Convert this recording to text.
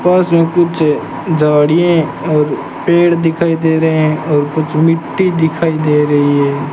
पास मे कुछ झाड़ियें और पेड़ दिखाई दे रहे हैं और कुछ मिट्टी दिखाई दे रही है।